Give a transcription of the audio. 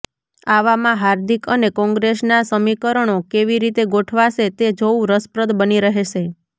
આવામાં હાર્દિક અને કોંગ્રેસના સમીકરણો કેવી રીતે ગોઠવાશે તે જોવુ રસપ્રદ બની રહેશે